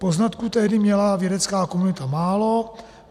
Poznatků tehdy měla vědecká komunita málo.